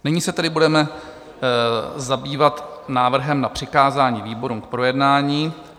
Nyní se tedy budeme zabývat návrhem na přikázání výborům k projednání.